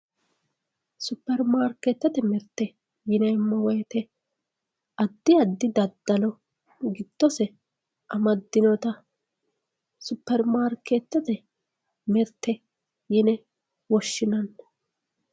Superimaarketete mirte yineemmo woyte addi addi daddalo giddose amadinotta superimaarketete mirte yine woshshinanni.